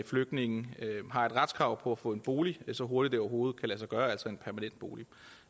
flygtninge har et retskrav på at få en bolig så hurtigt det overhovedet kan lade sig gøre altså en permanent bolig